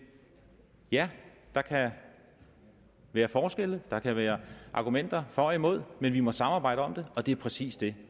ja der kan være forskelle der kan være argumenter for og imod men vi må samarbejde om det og det er præcis det